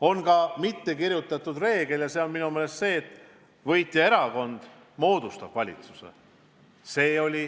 On kirjutamata reegel, et võitjaerakond moodustab valitsuse.